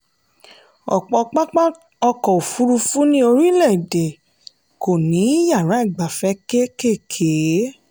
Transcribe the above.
ọ̀pọ̀ pápá ọkọ̀ òfurufú ní orílẹ̀-èdè kò ní yàrá ìgbafẹ́ kékèèké.